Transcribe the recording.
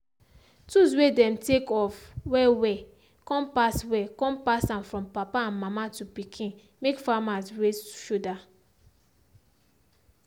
tools way dem take of well well come pass well come pass am from papa and mama to pikin make farmers raise shoulder.